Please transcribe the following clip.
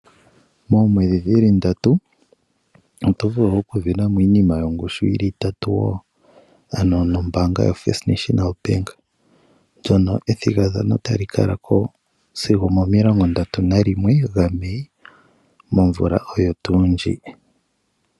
Moomwedhi dhili ndatu oto vulu okusindanamo iinima yongushu yili itatu wo, ano nombaanga yo First National Bank. Ndjono ethigathano tali kalako sigo 31 Mei momvula oyo tuu ndjika.